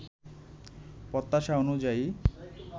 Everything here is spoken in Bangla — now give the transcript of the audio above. প্রত্যাশা অনুযায়ী